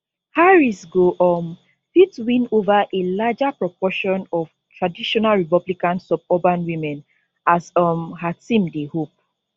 harris go um fit win ova a larger proportion of traditional republican suburban women as um her team dey hope